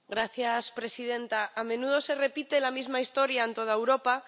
Señora presidenta, a menudo se repite la misma historia en toda Europa.